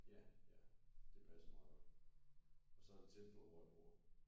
Ja ja det passede meget godt og så er det tæt på hvor jeg bor